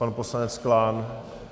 Pan poslanec Klán?